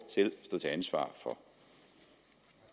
selv stå til ansvar